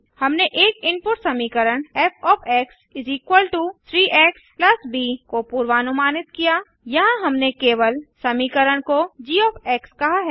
हमने एक इनपुट समीकरण फ़ 3 एक्स ब को पूर्वानुमानित किया यहाँ हमने केवल समीकरण को जी कहा है